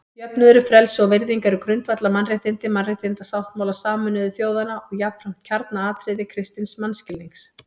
Jöfnuður, frelsi og virðing eru grundvallaratriði Mannréttindasáttmála Sameinuðu þjóðanna og jafnframt kjarnaatriði kristins mannskilnings.